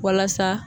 Walasa